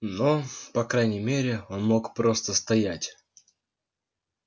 но по крайней мере он мог просто стоять